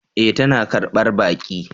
E! tana karbar baki.